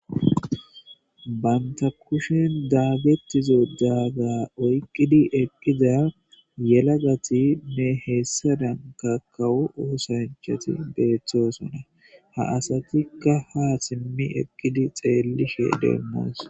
Banta kushen daaggettizo daaga oyqqidi eqqida yelagati ne heessadan kakawo uosanchati beeththoosona ha asatikka ha simmi eqqidi xeellishe deemmoos